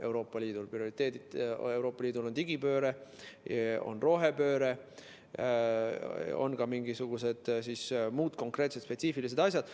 Euroopa Liidu prioriteedid on digipööre, rohepööre, ka mingisugused muud konkreetsed spetsiifilised asjad.